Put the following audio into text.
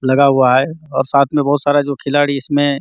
लगा हुआ हैं और साथ में बहुत सारा जो खिलाड़ी इसमें --